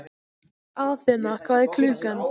Athena, hvað er klukkan?